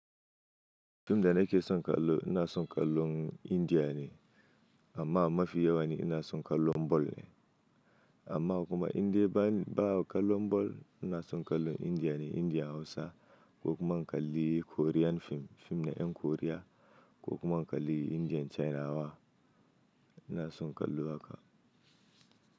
Fim da nake son kallo ina son kallon Indiya ne amma mafi yawan ina son kallon bol ne amma kuma indai ba kallon bol ina son kallon Indiya ne. Indiya Hausa ko kuma in kalli Korean fim, fim din ƴan Koriya ko kuma in kalli fim ɗin China” ina son kallo haka.